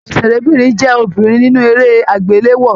Òṣèrébínrin jẹ obìnrin nínú eré agbelewo.